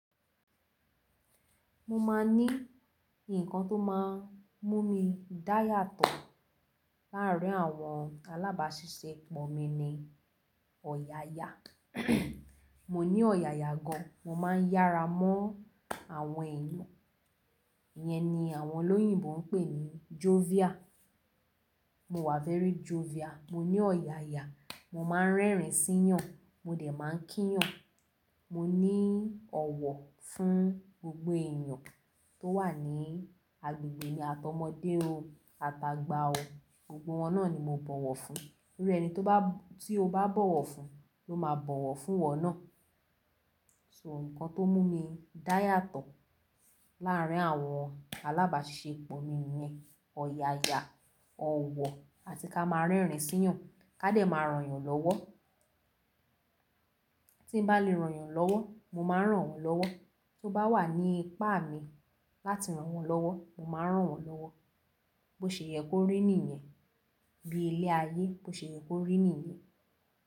Mo máa ní ǹkan tó máa ń mú mi dá yàtọ̀ láàárín àwọn alábàáṣiṣẹ́pọ̀ mi ni ọ̀yàyà. Mo ní ọ̀yàyà gan, mo má ń yára mọ́ àwọn èèyàn, ìyẹn ni àwọn olóyìnbo ń pè ní jovial. Mo wà fẹ́rí jovial, mo ní ọ̀yàyà, mo má ń rẹ́rìn-ín síyàn, mo dẹ̀ má ń kíyàn, mo ní ọ̀wọ̀ fún gbogbo èèyàn tó wà ní agbègbè mi àtọmọ́dé o, ata gba o, gbogbo wọn náà ni mo bọ̀wọ̀ fún. Nítorí ẹni tí o bá bọ̀wọ̀ fún ló máa bọ̀wọ̀ fún wọn náà. So ǹkan tó mú mi dá yàtọ̀ láàárín àwọn alábàáṣiṣẹ́pọ̀ mi ni ọ̀yàyà, ọ̀wọ̀ àti ká má a rẹ́rìn-ín síyàn, ká dẹ̀ má a ràn yàn lọ́wọ́. Tí n bá lè ràn yàn lọ́wọ́, mo má ń rán wọn lọ́wọ́. Tó bá wà ní ipá mi láti rán wọn lọ́wọ́, mo má ń rán wọn lọ́wọ́. Bó ṣe yẹ kó rí nìyẹn? Bí ilé ayé, bó ṣe yẹ kó rí nìyẹn?